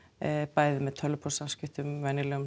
bæði með tölvupóstssamskiptum